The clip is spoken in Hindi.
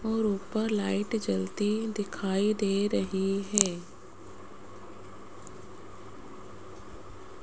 और ऊपर लाइट जलती दिखाई दे रही है।